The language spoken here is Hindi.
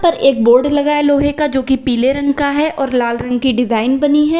एक बोर्ड लगा है लोहे का जोकि पीले रंग का है और लाल रंग की डिजाइन बनी है।